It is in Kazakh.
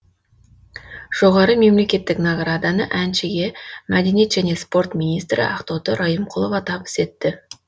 жоғары мемлекеттік награданы әншіге мәдениет және спорт министрі ақтоты райымқұлова табыс етті